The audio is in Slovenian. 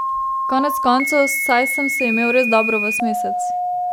Konec koncev, saj sem se imel res dobro ves mesec.